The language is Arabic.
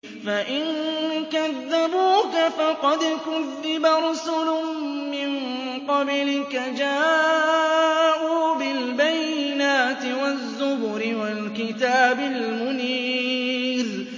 فَإِن كَذَّبُوكَ فَقَدْ كُذِّبَ رُسُلٌ مِّن قَبْلِكَ جَاءُوا بِالْبَيِّنَاتِ وَالزُّبُرِ وَالْكِتَابِ الْمُنِيرِ